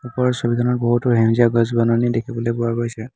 ওপৰৰ ছবিখনত বহুতো সেউজীয়া গছ বননি দেখিবলৈ পোৱা গৈছে।